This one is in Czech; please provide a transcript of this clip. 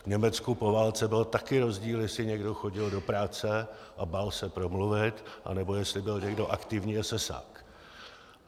V Německu po válce byl také rozdíl, jestli někdo chodil do práce a bál se promluvit, nebo jestli byl někdo aktivní esesák.